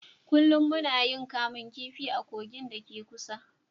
Kullum muna yin kamun kifi a kogin da ke kusa